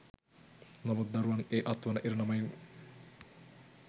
නමුත් දරුවන් ඒ අත්වන ඉරණමෙන්